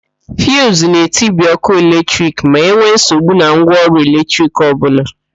Fiuzu na-etibi ókụ́ eletrik ma enwe nsogbu na ngwaọrụ eletrik ọbụla.